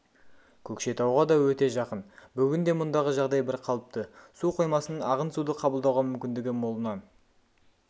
көкшетауға да өте жақын бүгінде мұндағы жағдай бірқалыпты су қоймасының ағын суды қабылдауға мүмкіндігі молынан